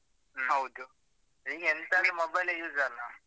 ಹೌದು. ಈಗ ಎಂತ ಆದ್ರು mobile ಯೆ mobile ಅಲ್ಲ.